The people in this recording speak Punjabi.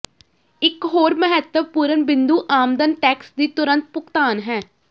ਇੱਕ ਹੋਰ ਮਹੱਤਵਪੂਰਨ ਬਿੰਦੂ ਆਮਦਨ ਟੈਕਸ ਦੀ ਤੁਰੰਤ ਭੁਗਤਾਨ ਹੈ